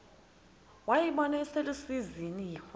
wayibona iselusizini waza